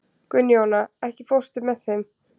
Gunnjóna, ekki fórstu með þeim?